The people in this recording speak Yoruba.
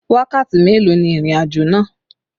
Wákàtí mélòó ni ìrìnàjò náà?